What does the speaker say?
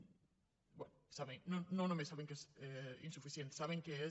bé no només saben que és insuficient saben que és